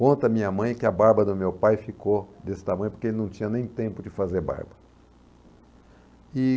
Conta a minha mãe que a barba do meu pai ficou desse tamanho porque ele não tinha nem tempo de fazer barba.